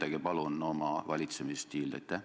Kirjeldage palun oma valitsemisstiili!